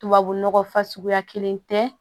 Tubabu nɔgɔ fasuguya kelen tɛ